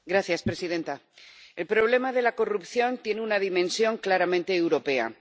Señora presidenta, el problema de la corrupción tiene una dimensión claramente europea.